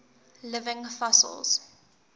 living fossils